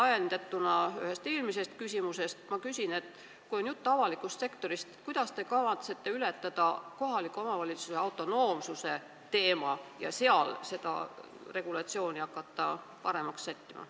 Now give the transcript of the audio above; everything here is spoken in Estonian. Ajendatuna ühest eelmisest küsimusest küsin ka, et kui jutt on avalikust sektorist, kuidas te kavatsete hakkama saada kohaliku omavalitsuse autonoomsuse teemaga ja hakata seal seda regulatsiooni paremaks sättima.